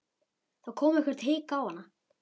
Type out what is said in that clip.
Þá kom eitthvert hik á hana.